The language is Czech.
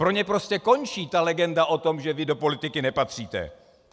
Pro ně prostě končí ta legenda o tom, že vy do politiky nepatříte.